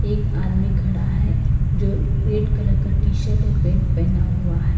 एक आदमी खड़ा है जो रेड कलर का टी शर्ट और पेंट पहना हुआ है।